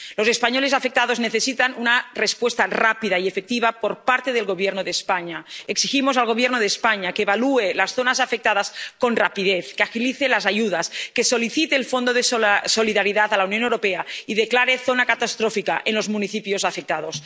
Los españoles afectados necesitan una respuesta rápida y efectiva por parte del Gobierno de España. Exigimos al Gobierno de España que evalúe las zonas afectadas con rapidez, que agilice las ayudas, que solicite el Fondo de Solidaridad a la Unión Europea y declare zona catastrófica a los municipios afectados.